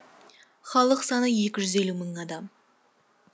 халық саны екі жүз елу мың адам